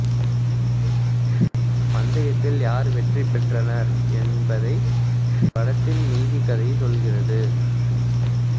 பந்தயத்தில் யார் வெற்றி பெற்றனர் என்பது படத்தின் மீதிக் கதைச் சொல்கிறது